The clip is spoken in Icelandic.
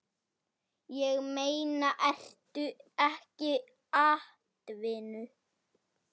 Ég meina, ertu ekki atvinnu